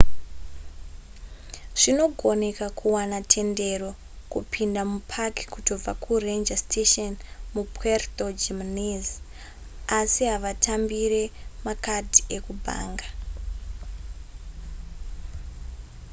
zvinogoneka kuwana tendero yekupinda kupaki kutobva kuranger station mupuerto jiménez asi havatambire makadhi ekubhanga